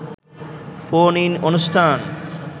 phone-in অনুষ্ঠান